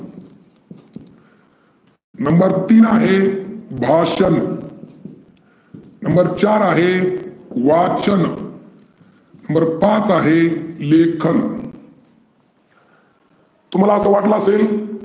number तीन आहे भाषन, number चार आहे वाचन, number पाच आहे लेखन तुम्हाला असं वाटलं असेल